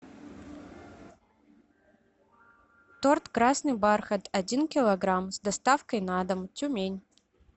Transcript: торт красный бархат один килограмм с доставкой на дом тюмень